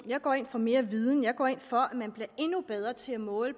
jeg går ind for mere viden jeg går ind for at man bliver endnu bedre til at måle